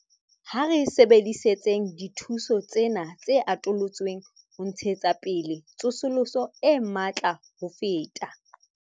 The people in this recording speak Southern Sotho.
Ha re sebedisetseng dithuso tsena tse atolotsweng ho ntshetsa pele tsosoloso e matla ho feta.